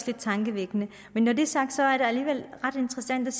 lidt tankevækkende men når det er sagt er det alligevel ret interessant